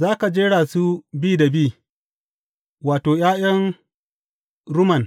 Za ka jera su bi da bi, wato, ’ya’yan rumman